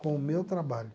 Com o meu trabalho.